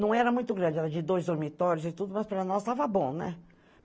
Não era muito grande, era de dois dormitórios e tudo, mas para nós estava bom, né?